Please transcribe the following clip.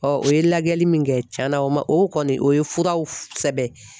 o ye lajɛli min kɛ , cɛn na o man o kɔni o ye furaw sɛbɛn.